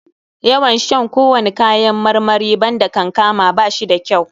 Yawan shan kowani kayan marmari banda kankama ba shi da kyau.